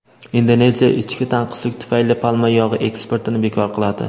Indoneziya ichki tanqislik tufayli palma yog‘i eksportini bekor qiladi.